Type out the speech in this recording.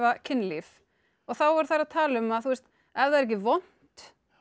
kynlíf að þá eru þær að tala um að ef það er ekki vont